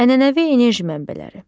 Ənənəvi enerji mənbələri.